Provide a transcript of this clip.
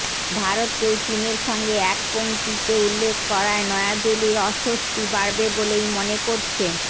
ভারতকেও চিনের সঙ্গে এক পংক্তিতে উল্লেখ করায় নয়াদিল্লির অস্বস্তি বাড়বে বলেই মনে করছে